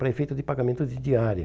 Para efeito de pagamento de diária.